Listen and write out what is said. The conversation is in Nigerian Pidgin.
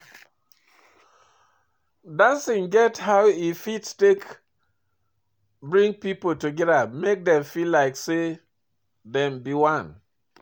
Dancing get how e fit take bring pipo together make dem feel like sey dem be one